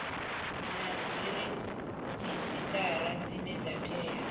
na dziredzhisitara dzine dza tea